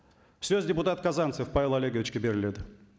сөз депутат казанцев павел олеговичке беріледі